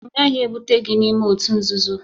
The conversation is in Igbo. M gaghị ebute gị n'ime òtù nzuzo!